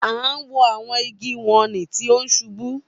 A wo awọn igi wọnni ti o ṣubu.